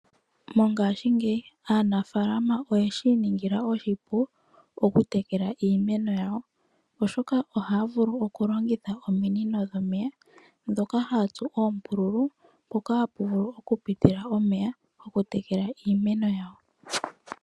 Mongashingeyi aanafalama oyeshi iningila oshipu okutekela iimeno iimeno yawo, oshoka ohaya vulu okulongitha ominino dhomeya dhoka haya tsu oombululu mpoka hapu vulu okupitila omeya gokutekela iimeno yawo.